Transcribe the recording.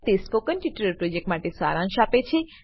તે spoken tutorial પ્રોજેક્ટનો સારાંશ આપે છે